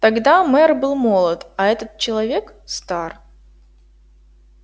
тогда мэр был молод а этот человек стар